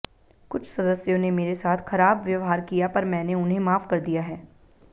कुछ सदस्यों ने मेरे साथ खराब व्यवहार किया पर मैंने उन्हें माफ कर दिया है